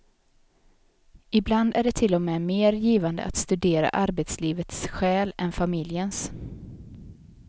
Ibland är det till och med mer givande att studera arbetslivets själ än familjens.